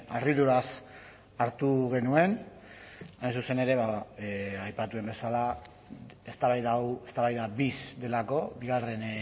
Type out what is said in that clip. harriduraz hartu genuen hain zuzen ere aipatu den bezala eztabaida hau eztabaida bis delako bigarren